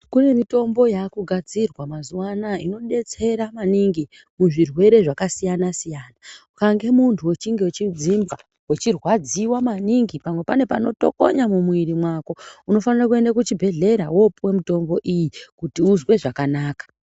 Kune mitombo yaakugadzirwa mazuva anaya inodetsera maningi muzvirwere zvakasiyana-siyana. Ukange muntu wechinge wechidzinza wechirwadziwa maningi, pamwe pane panotokonya mumwiiri mwako, unofanire kuende kuchibhehlera woopuwe mutombo iyi kuti uzwe zvakanaka.